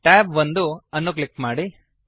tab 1 ಅನ್ನು click ಮಾಡಿ